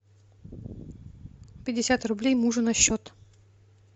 пятьдесят рублей мужу на счет